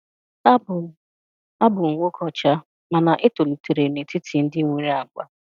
Abụ m Abụ m nwoke ọcha, mana etoliterem netiti ndị nwere ágbà.